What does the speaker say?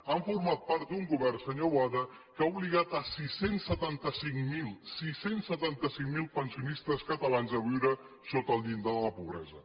han format part d’un govern senyor boada que ha obligat sis cents i setanta cinc mil sis cents i setanta cinc mil pensionistes catalans a viure sota el llindar de la pobresa